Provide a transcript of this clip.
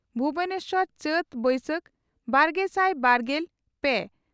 ᱵᱷᱩᱵᱚᱱᱮᱥᱚᱨ ᱪᱟᱹᱛᱼᱵᱟᱹᱭᱥᱟᱹᱛ, ᱵᱟᱨᱜᱮᱥᱟᱭ ᱵᱟᱨᱜᱮᱞ ᱯᱮ